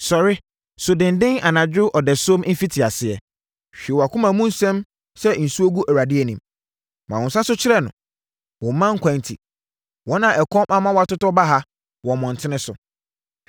Sɔre, su denden anadwo ɔdasuom mfitiaseɛ; hwie wʼakoma mu nsɛm sɛ nsuo gu Awurade anim. Ma wo nsa so kyerɛ no wo mma nkwa enti, wɔn a ɛkɔm ama wʼatotɔ baha wɔ mmɔntene so.